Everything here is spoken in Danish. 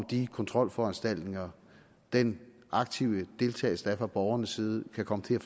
de kontrolforanstaltninger den aktive deltagelse der er fra borgernes side kan komme til at